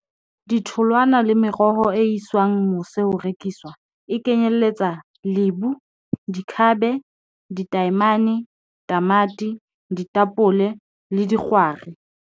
Ditholwana le meroho e iswang mose ho rekiswa e kenyelletsa lebu dikhabe ditaemane, tamati, ditapole le dikgwari.